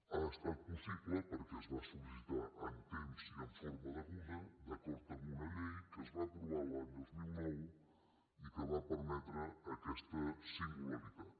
ha estat possible perquè es va sol·licitar amb temps i en forma deguda d’acord amb una llei que es va aprovar l’any dos mil nou i que va permetre aquesta singularitat